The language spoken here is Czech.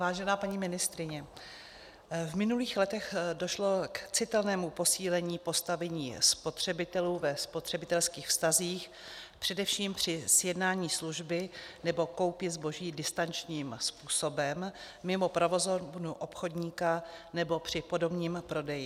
Vážená paní ministryně, v minulých letech došlo k citelnému posílení postavení spotřebitelů ve spotřebitelských vztazích, především při sjednání služby nebo koupě zboží distančním způsobem, mimo provozovnu obchodníka nebo při podomním prodeji.